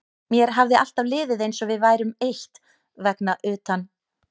Mér hafði alltaf liðið eins og við værum eitt vegna utan